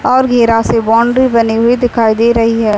और घेरा से बाउंड्री बनी हुई दिखाई दे रही है।